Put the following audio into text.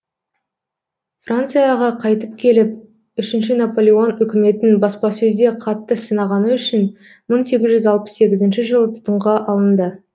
францияға қайтып келіп үшінші наполеон үкіметін баспасөзде қатты сынағаны үшін мың сегіз жүз алпыс сегізінші жылы тұтқынға алынды